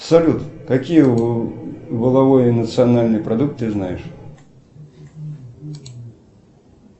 салют какие валовые национальные продукты ты знаешь